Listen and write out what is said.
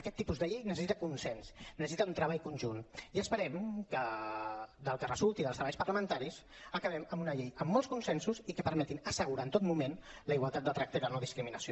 aquest tipus de llei necessita consens necessita un treball conjunt i esperem que del que resulti dels treballs parlamentaris acabem amb una llei amb molts consensos i que permetin assegurar en tot moment la igualtat de tracte i la no discriminació